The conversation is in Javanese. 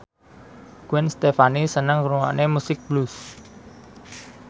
Gwen Stefani seneng ngrungokne musik blues